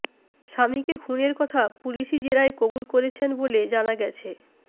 স্বামীকে খুনের কথা পুলিশি জেরায় কবুল করেছেন বলে জানা গেছে